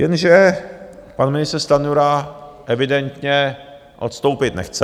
Jenže pan ministr Stanjura evidentně odstoupit nechce.